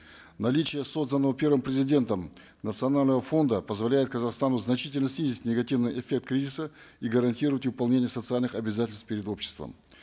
наличие созданного первым президентом национального фонда позволяет казахстану значительно снизить негативный эффект кризиса и гарантировать выполнение социальных обязательств перед обществом